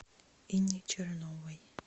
инне черновой